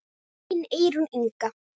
Þín Eyrún Inga.